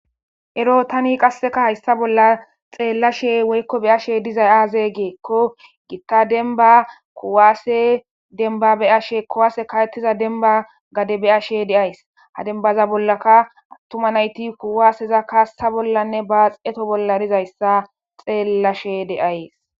Ero tan qaseka haysa bolla xelashe woy beyashe dizay aze gikon Gita demba kuwasey ka'etiza demba gade beyashe de'ays. Ha demba bollaka atuma nayt kuwaseza kasa bollanne baxeto bolla dizaysa xelashe de'ays